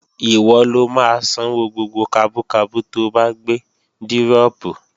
Ìwọ lo máa sanwó gbogbo kabú kabú to bá gbé dírọ̀pù